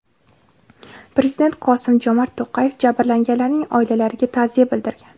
Prezident Qosim-Jomart To‘qayev jabrlanganlarning oilalariga ta’ziya bildirgan.